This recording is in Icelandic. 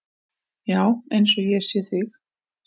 Já, eins og ég sé þig.